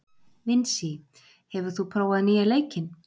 Vinsý, hefur þú prófað nýja leikinn?